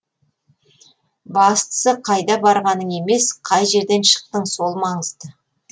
бастысы қайда барғаның емес қай жерден шықтың сол маңызды